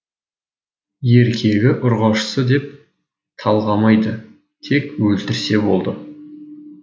еркегі ұрғашысы деп талғамайды тек өлтірсе болды